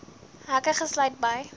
hekke gesluit bly